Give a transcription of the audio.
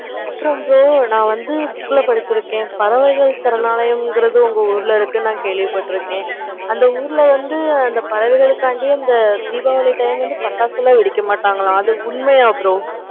apparam bro நான் வந்து book ல படிச்சிருக்கேன். பறவைகளை சரணாலயம் கேள்வி பாத்துருக்கேன். எந்த ஊருல வந்து பறவைகளுக்காக தீபாவளி அன்னைக்கு பட்டாசுலாம் வெடிக்க மாட்டாங்களா அப்படியா bro